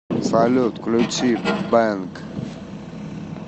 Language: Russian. салют включи бэнг